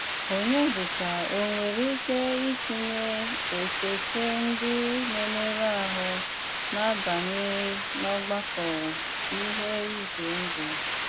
Ọnyédíkà o nwéré íké ítìnyé échéchè ndí ná-émérù áhụ́ ná-àbánye n’ọ́gbàkọ́ n’íhé ízé ndụ́?